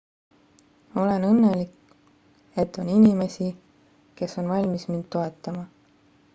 olen õnnelik et on inimesi kes on valmis mind toetama